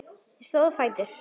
Þau stóðu á fætur.